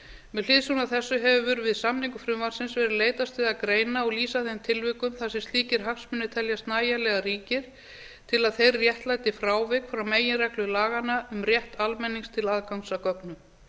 með hliðsjón af þessu hefur verið við samningu frumvarpi verið leitast við að greina og lýsa þeim tilvikum þar sem slíkir hagsmunir teljast nægjanlega ríkir til að þeir réttlæti frávik frá meginreglu laganna um rétt almennings til aðgangs að gögnum